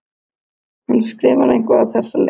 Hún skrifar eitthvað á þessa leið: